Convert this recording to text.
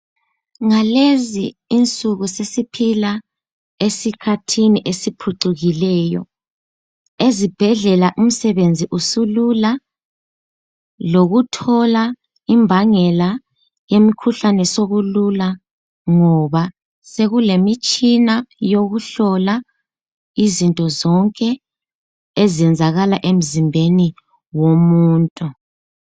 Ngalezi insuku sesiphila esikhathini esiphucukileyo. Ezibhedlela umsebenzi usulula lokuthola imbangela yemikhuhlane sokulula ngoba sekulemitshina yokuhlola izinto zonke ezenzakala emzimbeni womuntu.